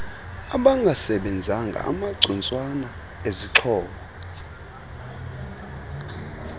abangasebenzanga amacutswana ezixhobo